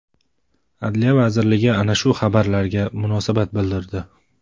Adliya vazirligi ana shu xabarlarga munosabat bildirdi .